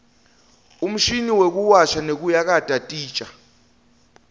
umshini wekuwasha nekuyakata titja